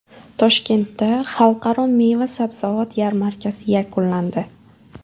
Toshkentda Xalqaro meva-sabzavot yarmarkasi yakunlandi.